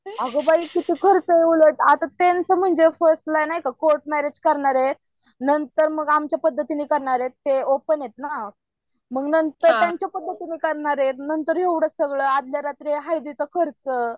अगं बाई किती खर्च उलट आत्ता त्यांचं म्हणजे फर्स्ट ला नाय का कोर्ट मॅरेज करणार आहेत आणि नंतर मग आमच्या पदतीने करणारेत ते ओपन आहेत ना. मग नंतर त्यांच्या पद्धतीने करणार आहेत नंतर एवढं सगळ आदल्या रात्री हळदीचा खर्च